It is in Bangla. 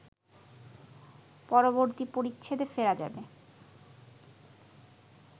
পরবর্তী পরিচ্ছেদে ফেরা যাবে